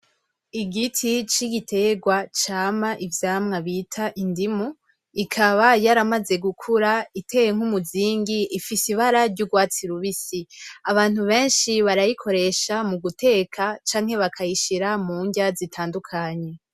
Igiti cigiterwa cama ivyamwa bita indimu, ikaba yaramaze gukura iteye nkumuzingi ifise ibara yubwatsi bubisi. Abantu benshi barayikoresha muguteka canke bakayishira munrya zitandukanye.